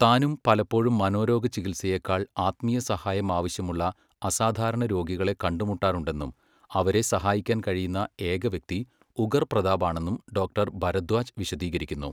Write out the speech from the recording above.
താനും പലപ്പോഴും മനോരോഗ ചികിത്സയേക്കാൾ ആത്മീയസഹായം ആവശ്യമുള്ള അസാധാരണ രോഗികളെ കണ്ടുമുട്ടാറുണ്ടെന്നും അവരെ സഹായിക്കാൻ കഴിയുന്ന ഏക വ്യക്തി ഉഗർ പ്രതാപാണെന്നും ഡോക്ടർ ഭരദ്വാജ് വിശദീകരിക്കുന്നു.